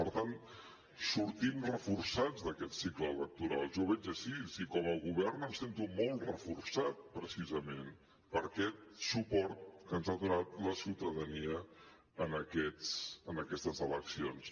per tant sortim reforçats d’aquest cicle electoral jo ho veig així i com a govern em sento molt reforçat precisament per aquest suport que ens ha donat la ciutadania en aquestes eleccions